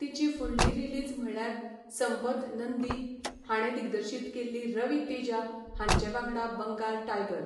तिची फुडली रिलीज म्हळ्यार संपथ नंदी हाणें दिग्दर्शीत केल्ली रवी तेजा हांचे वांगडा बंगाल टायगर.